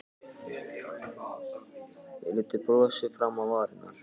Ég læddi brosi fram á varirnar.